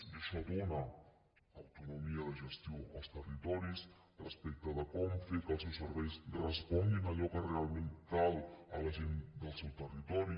i això dóna autonomia de gestió als territoris respecte de com fer que els seus serveis responguin a allò que realment cal a la gent del seu territori